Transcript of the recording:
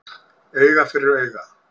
Auga fyrir auga